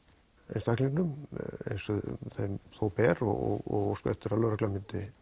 einstaklingnum eins og þeim ber og óska eftir því að lögreglan myndi